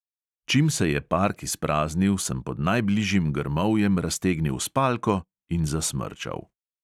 Čim se je park izpraznil, sem pod najbližjim grmovjem raztegnil spalko in zasmrčal.